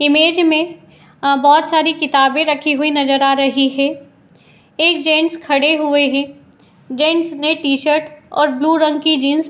image में बहोत सारी किताबें रखी हुई नज़र आ रही हैं | एक जेन्ट्स खड़े हुए है | जेन्ट्स ने टी शर्ट और ब्लू रंग की जीन्स --